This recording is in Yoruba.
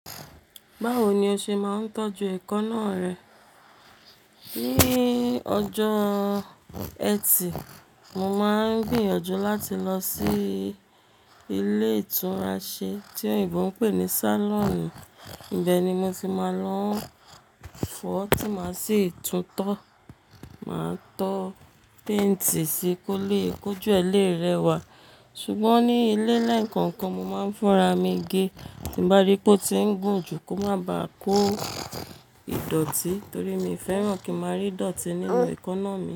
Báwo ni o ṣe máa ń tọ́jú ẹ̀kọ náá rẹ? Ní ọjọ́ ẹtì, mo máa ń gbìyànjú láti lọ sí ilé ìtúnraṣe tí òyìnbó ń pè ní salon. Ibẹ̀ ni mo ti máa lọ ń fọ tí máa sì tún tó. Máa tó painti sí i kó lè kójú ẹ̀ lè rẹwà. Ṣùgbọ́n ní ilé lẹńkọ̀ọ̀kan mo máa ń fúnra mi gé tí n bá rí pé ó ti ń gùn jù kó má ba kó ìdọ̀tí torí mi ò fẹ́ràn kí n máa rí ìdọ̀tí nínú èékánná mi.